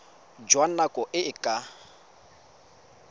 jwa nako e e ka